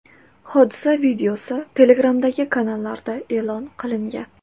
Hodisa videosi Telegram’dagi kanallarda e’lon qilingan .